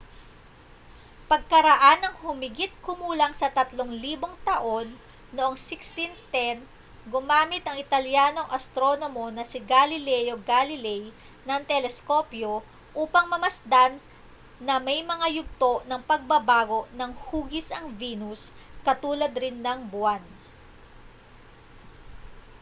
pagkaraan ng humigit-kumulang sa tatlong libong taon noong 1610 gumamit ang italyanong astronomo na si galileo galilei ng teleskopyo upang mamasdan na may mga yugto ng pagbabago ng hugis ang venus katulad rin ng buwan